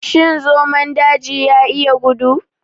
Shin zomon daji ya iya gudu?